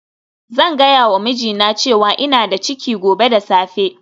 Zan gaya wa mijina cewa ina da ciki gobe da safe